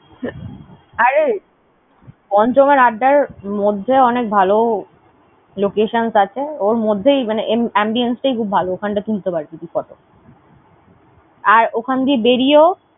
আরে পঞ্চমের আড্ডায় আর মধ্যে অনেক ভালো locations আছে। ওর মধ্যেই মানে ambience তাই খুব ভালো। ওখানটা তুলতে পাড়বি তুই photo । আর ওখান দিয়ে বেরিয়েও